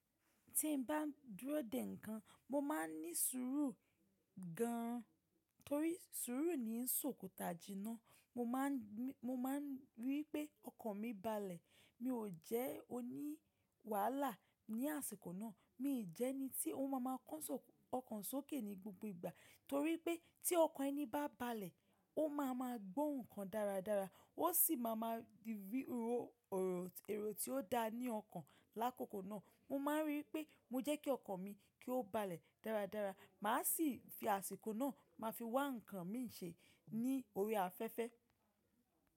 Tí n bá dúró dè nǹkan, mo máa ń ní sùúrù gan torí sùúrù ni ń ṣòkòtá jiná. Mo máa n ní Mo ma ń rí i pé ọkàn mi balẹ̀. Mi ò jẹ́ oní wàhálà ní àsìkò náà. Mi jẹ ẹni tí ó máa ma kán ọkàn sókè ní gbogbo ìgbà torí pé tí ọkàn ẹni bá balẹ̀, ó máa ma gbó ǹkan dáradára, ó sì máa ma rí ero tí ó da ní ọkàn lákòókò náà. Mo ma ń rí i pé mo jẹ́ kí ọkàn mi kí ó balẹ̀ dáradára. Màá sì fi àsìkò náà máa fi wá ǹkan mi ń ṣe ní orí afẹ́fẹ́.